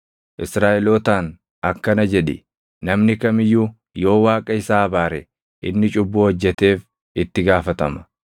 Israaʼelootaan akkana jedhi; ‘Namni kam iyyuu yoo Waaqa isaa abaare inni cubbuu hojjeteef itti gaafatama;